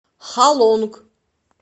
халонг